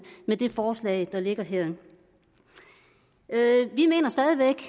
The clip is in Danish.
med det forslag der ligger her vi mener stadig væk